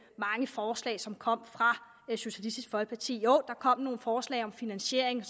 mange forslag som kommer fra socialistisk folkeparti der kom nogle forslag om finansiering